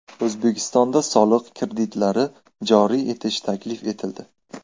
O‘zbekistonda soliq kreditlari joriy etish taklif etildi.